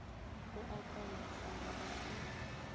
o a kaonafala ge a